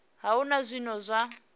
a hu na zwine zwa